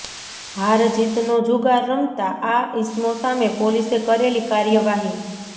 હાર જીતનો જુગાર રમતા આ ઇસમો સામે પોલીસે કરેલી કાર્યવાહી